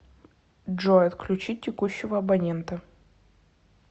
джой отключить текущего абонента